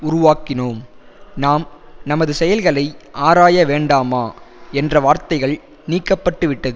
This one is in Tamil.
உருவாக்கினோம் நாம் நமது செயல்களை ஆராயவேண்டாமா என்ற வார்த்தைகள் நீக்க பட்டு விட்டது